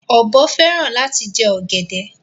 Ọbọ fẹran lati jẹ ogede.